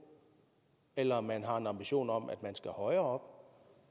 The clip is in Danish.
eller om man har en ambition om at den skal højere